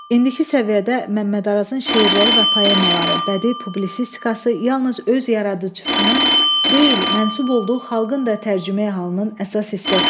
İndiki səviyyədə Məmməd Arazın şeirləri və poemaları, bədi publisistikası yalnız öz yaradıcısının deyil, mənsub olduğu xalqın da tərcüməi-halının əsas hissəsidir.